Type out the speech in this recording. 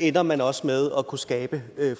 ender man også med at kunne skabe